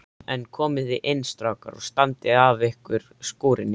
En komiði inn strákar og standið af ykkur skúrina.